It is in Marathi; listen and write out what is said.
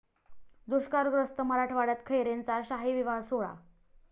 दुष्काळग्रस्त मराठवाड्यात खैरेंचा शाही विवाह सोहळा